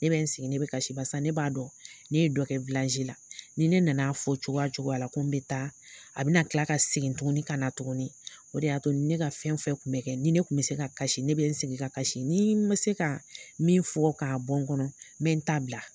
Ne bɛ n sigi ne bɛ kasi. Barisa ne b'a dɔn ne ye dɔ kɛ la, ni ne nana fɔ cogoya o cogoya la, ko n bɛ taa, a bɛna kila ka segin tuguni ka na tuguni. O de y'a to ne ka fɛn fɛn kun bɛ kɛ ni ne kun bɛ se ka kasi ne bɛ n sigi ka kasi. Ni ma se ka min fɔ k'a bɔn kɔnɔ, n bɛ n ta bila.